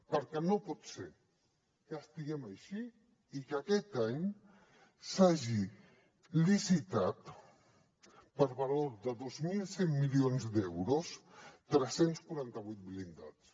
perquè no pot ser que estiguem així i que aquest any s’hagi licitat per valor de dos mil cent milions d’euros tres cents i quaranta vuit blindats